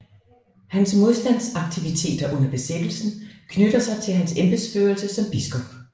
Hans modstandsaktiviteter under besættelsen knytter sig til hans embedsførelse som biskop